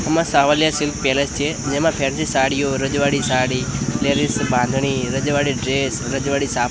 આમાં Savaliya silk palace છે જેમા ફેન્સી સાડીઓ રજવાડી સાડી લેડીઝ બાંધણી રજવાડી ડ્રેસ રજવાડી સા--